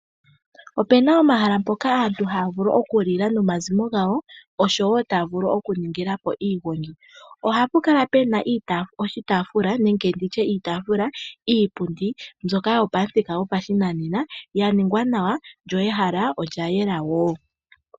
Opena omahala mpoka aantu haa vulu okulila nomazimo gawo oshowo wo taa vulu okuningila po iigongi. Ohapu kala pena oshitaafula nenge nditye iitaafula, iipundi mbyoka yopamuthika gopashinanena ya ningwa nawa, lyo ehala olya yela woo.